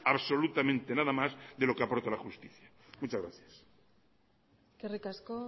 absolutamente nada más de lo que aporte la justicia muchas gracias eskerrik asko